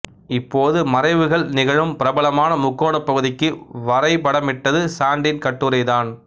இப்போது மறைவுகள் நிகழும் பிரபலமான முக்கோணப் பகுதிக்கு வரைபடமிட்டது சாண்டின் கட்டுரைதான்